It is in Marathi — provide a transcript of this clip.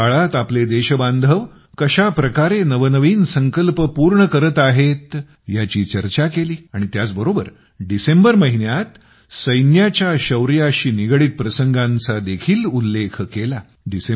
अमृत काळात आपले देशबांधव कशा प्रकारे नवनवीन संकल्प पूर्ण करत आहेत याची चर्चा केली आणि त्याचबरोबर डिसेंबर महिन्यात सैन्याच्या शौर्याशी निगडित प्रसंगांचा देखील उल्लेख केला